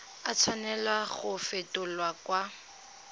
a tshwanela go fetolwa kwa